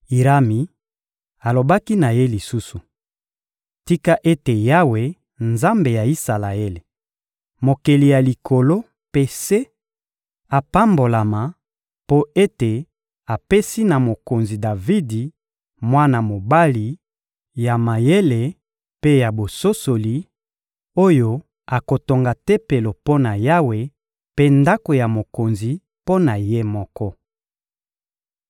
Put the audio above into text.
Irami alobaki na ye lisusu: — Tika ete Yawe, Nzambe ya Isalaele, Mokeli ya likolo mpe se, apambolama, mpo ete apesi na mokonzi Davidi mwana mobali ya mayele mpe ya bososoli, oyo akotonga Tempelo mpo na Yawe mpe ndako ya mokonzi mpo na ye moko.